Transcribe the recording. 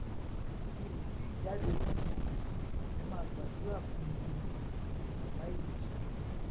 mi ò tì í jáde lẹwọn o ẹ máa gbàdúrà fún mi ni obàbá ìjèṣà